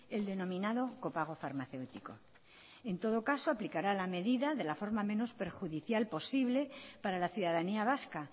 el denominado copago farmacéutico en todo caso aplicará la medida de la forma menos perjudicial posible para la ciudadanía vasca